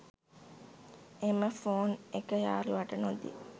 එම ෆෝන් එක යාළුවාට නොදී